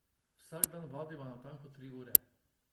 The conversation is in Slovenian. Vsak dan vadiva natanko tri ure.